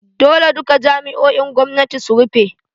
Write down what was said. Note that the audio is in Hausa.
Dole duka jami’o’in gwamnati su rufe!